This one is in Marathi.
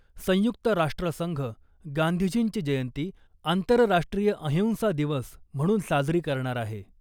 संयुक्त राष्ट्र संघ गांधीजींची जयंती आंतरराष्ट्रीय अहिंसा दिवस म्हणून साजरी करणार आहे .